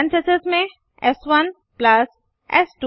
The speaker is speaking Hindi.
पेरेंथीसेस में एस1 प्लस एस2